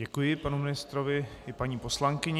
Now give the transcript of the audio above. Děkuji panu ministrovi i paní poslankyni.